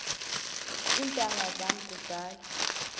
iintanga zam kudala